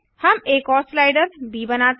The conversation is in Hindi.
हम एक और स्लाइडर ब बनाते हैं